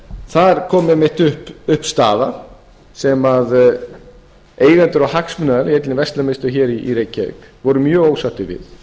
þar kom einmitt upp staða þar sem eigendur og hagsmunaaðilar í einni verslun að minnsta kosti hér i reykjavík voru ósáttir við